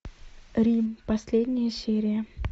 рим последняя серия